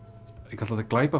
ég kalla þetta